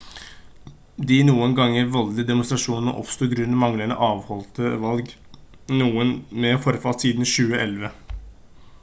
de noen ganger voldelige demonstrasjonene oppsto grunnet manglende avholdte valg noen med forfall siden 2011